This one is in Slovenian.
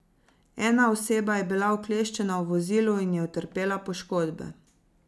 Ena oseba je bila ukleščena v vozilu in je utrpela poškodbe.